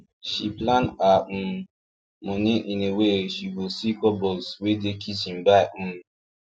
she plan her um money in a way she go see cupboards wey dey kitchen buy um